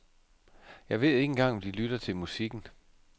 Jeg ved ikke engang om de lytter til musikken.